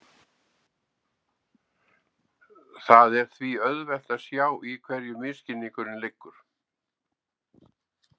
Það er því auðvelt að sjá í hverju misskilningurinn liggur.